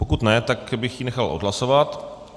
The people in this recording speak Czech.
Pokud ne, tak bych ji nechal odhlasovat.